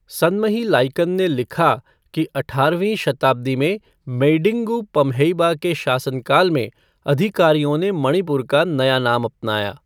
सनमही लाइकन ने लिखा कि अठारहवीं शताब्दी में मेईडिंगु पम्हेइबा के शासनकाल में अधिकारियों ने मणिपुर का नया नाम अपनाया।